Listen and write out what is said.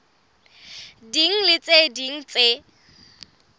ding le tse ding tse